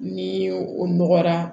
Ni o nɔgɔra